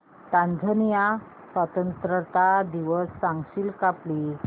Tanzania स्वतंत्रता दिवस सांगशील का प्लीज